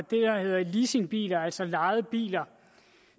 der hedder leasingbiler altså lejede biler